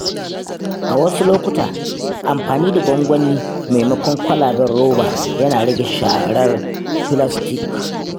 A wasu lokuta, amfani da gwangwani maimakon kwalaben roba yana rage sharar filastik.